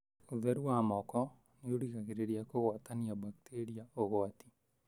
ũtheru wa moko nĩ ũgiragĩrĩria kũgwatania bakteria ũgwati.